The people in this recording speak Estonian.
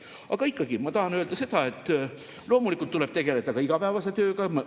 Aga ikkagi, ma tahan öelda seda, et loomulikult tuleb tegelda ka igapäevase tööga.